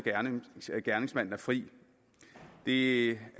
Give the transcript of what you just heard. at gerningsmanden er fri det er